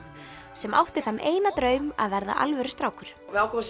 sem átti þann eina draum að verða alvöru strákur við ákváðum